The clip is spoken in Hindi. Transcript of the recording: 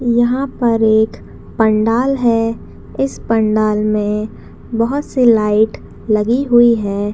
यहाँ पर एक पंडाल है इस पंडाल में बहुत से लाइट लगी हुई है।